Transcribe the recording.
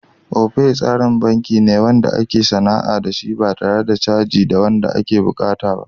Opay tsarin banki ne wanda ake sana'a da shi ba tare da caji da yawa wanda ake buƙata ba.